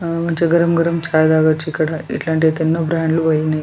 మంచిగా గరం గరం చాయి తగచ్చు ఇక్కడ ఎట్లాంటి ఎన్నో బ్రాండ్ లు పోయినయ్.